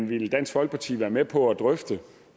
vil dansk folkeparti være med på at drøfte